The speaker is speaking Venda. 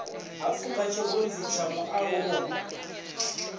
ha pfuka tshirunzi tsha mualuwa